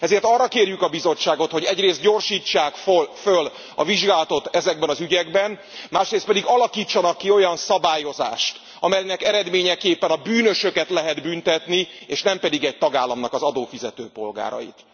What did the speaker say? Ezért arra kérjük a Bizottságot, hogy egyrészt gyorsítsák föl a vizsgálatot ezekben az ügyekben, másrészt pedig alakítsanak ki olyan szabályozást, amelynek eredményeképpen a bűnösöket lehet büntetni, és nem pedig egy tagállamnak az adófizető polgárait.